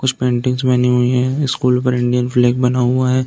कुछ पेंटिंग्स बनी हुई है। स्कूल पर इंडियन फ्लैग बना हुआ है।